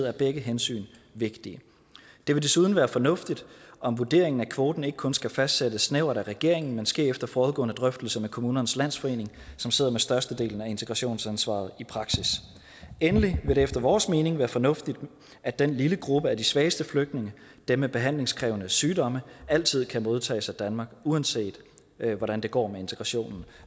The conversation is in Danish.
er begge hensyn vigtige det vil desuden være fornuftigt om vurderingen af kvoten ikke kun skal fastsættes snævert af regeringen men sker efter forudgående drøftelser med kommunernes landsforening som sidder med størstedelen af integrationsansvaret i praksis endelig vil det efter vores mening være fornuftigt at den lille gruppe af de svageste flygtninge dem med behandlingskrævende sygdomme altid kan modtages af danmark uanset hvordan det går med integrationen